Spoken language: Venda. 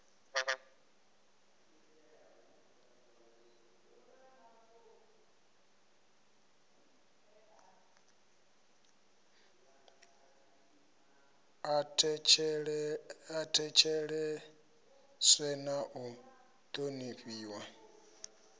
a thetsheleswe na u thonifhiwa